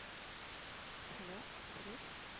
hello Suresh.